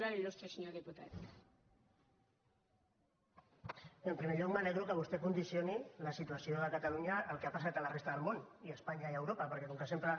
en primer lloc m’alegro que vostè condicioni la situa ció de catalunya al que ha passat a la resta del món i a espanya i a europa perquè com que sempre